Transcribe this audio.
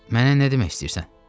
Mənə nə demək istəyirsən?